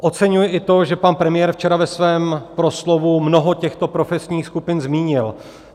Oceňuji i to, že pan premiér včera ve svém proslovu mnoho těchto profesních skupin zmínil.